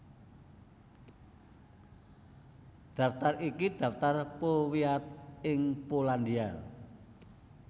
Daftar iki daftar powiat ing Polandia